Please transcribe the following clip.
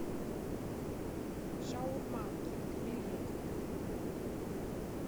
шаурма кинг билет